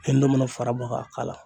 Hali ne mana fara bɔ ka k'a la.